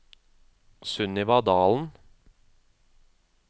Sunniva Dahlen